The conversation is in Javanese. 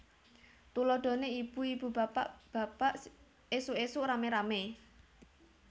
Tuladhané ibu ibu bapak bapak ésuk ésuk ramé ramé